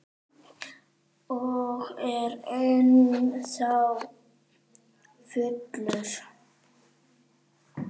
Ég er ennþá fullur.